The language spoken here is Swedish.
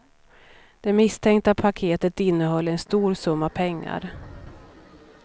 Det misstänkta paketet innehöll en stor summa pengar.